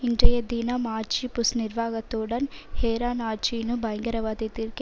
இன்றைய தினம் ஆட்சி புஷ் நிர்வாகத்துடன் ஹேரான் ஆட்சியுடனு பயங்கரவாதத்திற்கு